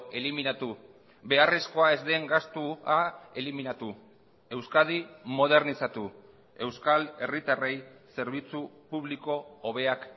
eliminatu beharrezkoa ez den gastua eliminatu euskadi modernizatu euskal herritarrei zerbitzu publiko hobeak